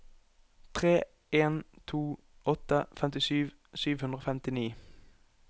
tre en to åtte femtisju sju hundre og femtini